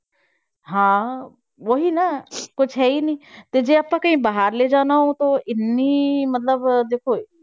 ਹਾਂ ਉਹ ਹੀ ਨਾ ਕੁਛ ਹੈ ਹੀ ਨੀ ਤੇ ਜੇ ਆਪਾਂ ਕਹੀਂ ਬਾਹਰ ਲੈ ਜਾਣਾ ਹੈ ਤਾਂ ਇੰਨੀ ਮਤਲਬ ਦੇਖੋ